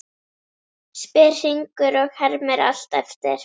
spyr Hringur og hermir allt eftir.